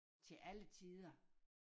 Til alle tider